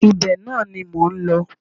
Ibẹ̀ náà ni mò ń lọ